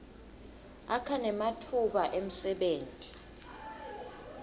akha nematfuba emsebenti